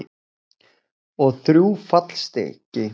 Og þrjú fallstykki.